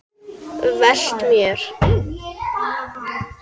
Velt mér.